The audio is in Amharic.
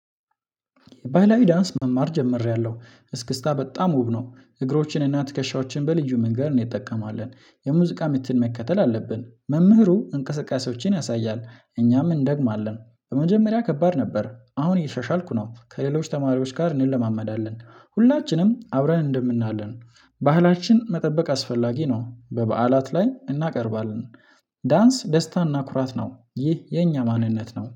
ባህላዊ ዳንስ መማር ጀምሬያለሁ። እስክስታ በጣም ውብ ነው። እግሮችን እና ትከሻዎችን በልዩ መንገድ እንጠቀማለን። የሙዚቃ ምትን መከተል አለብን። መምህሩ እንቅስቃሴዎችን ያሳያል። እኛም እንደግማለን። በመጀመሪያ ከባድ ነበር። አሁን እያሻሻልኩ ነው። ከሌሎች ተማሪዎች ጋር እንለማመዳለን። ሁላችንም አብረን እንደምናለን ባህላችን መጠበቅ አስፈላጊ ነው በበዓላት ላይ እናቀርባለን ዳንስ ደስታና ኩራት ነው። ይህ የኛ ማንነት ነው።